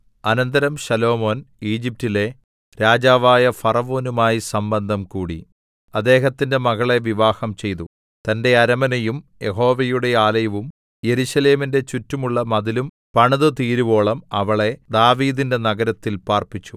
അനന്തരം ശലോമോൻ ഈജിപ്റ്റിലെ രാജാവായ ഫറവോനുമായി സംബന്ധം കൂടി അദ്ദേഹത്തിന്റെ മകളെ വിവാഹംചെയ്തു തന്റെ അരമനയും യഹോവയുടെ ആലയവും യെരൂശലേമിന്റെ ചുറ്റുമുള്ള മതിലും പണിതുതീരുവോളം അവളെ ദാവീദിന്റെ നഗരത്തിൽ പാർപ്പിച്ചു